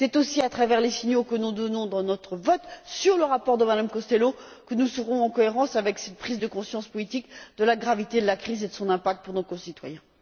C'est aussi à travers les signaux que nous donnerons au travers de notre vote sur le rapport de Mme Costello que nous serons en cohérence avec cette prise de conscience politique de la gravité de la crise et de son impact pour nos concitoyens.